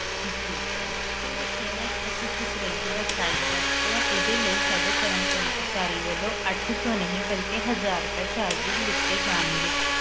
ਜੀ sir ਜਿਹੜਾ ਤੁਸੀਂ fridge ਦਾ size ਦੱਸ ਰਹੇ ਹੋ ਇਸ ਲਈ ਸਾਡੇ ਕਰਮਚਾਰੀ ਵੱਲੋਂ ਅੱਠ ਸੋ ਨਹੀਂ ਬਲਕਿ ਹਜ਼ਾਰ ਰੁਪਏ ਲਿੱਤੇ ਜਾਣਗੇ